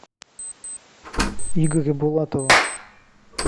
игоря булатова